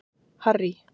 Harry